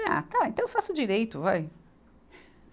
Ah, tá, então eu faço direito, vai.